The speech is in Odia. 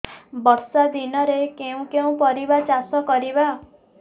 ବର୍ଷା ଦିନରେ କେଉଁ କେଉଁ ପରିବା ଚାଷ କରିବା